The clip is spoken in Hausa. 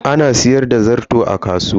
Ana sayar da zarto a kasuwa.